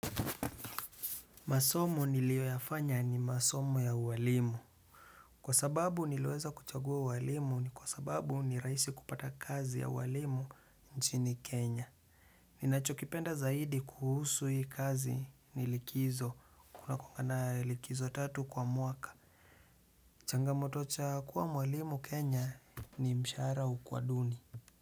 Masomo niliyoyafanya ni masomo ya uwalimu. Kwa sababu niliweza kuchagua ualimu ni kwa sababu ni rahisi kupata kazi ya ualimu nchini Kenya. Ninachokipenda zaidi kuhusu hii kazi ni likizo. Kuna kuanga na likizo tatu kwa mwaka. Changamoto cha kuwa mwalimu Kenya ni mshahara hukuwa duni.